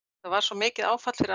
var svo mikið áfall fyrir